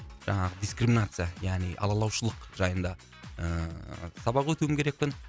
жаңағы дискриминация яғни алалаушылық жайында ыыы сабақ өтуім керекпін